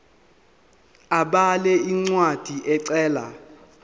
abhale incwadi ecela